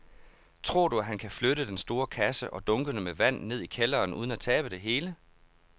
Tror du, at han kan flytte den store kasse og dunkene med vand ned i kælderen uden at tabe det hele?